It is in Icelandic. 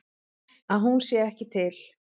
Að hún sé ekki til.